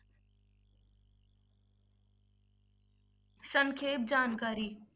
ਸੰਖੇਪ ਜਾਣਕਾਰੀ।